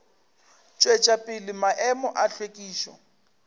tšwetša pele maemo a hlwekišo